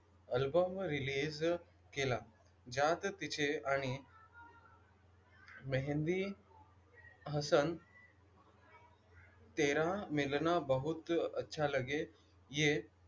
Album release केला. ज्या तिचे आणि मेहँदी हसन तेरा मिलना बहुत अच्छा लगे ये,